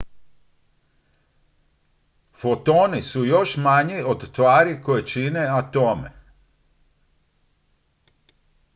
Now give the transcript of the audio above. fotoni su još manji od tvari koje čine atome